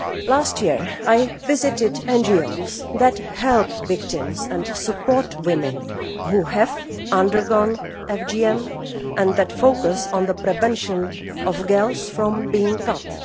Last year, I visited NGOs that help victims and support women who have undergone FGM and that focus on the prevention of girls from being cut.